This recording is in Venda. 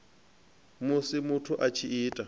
musi muthu a tshi ita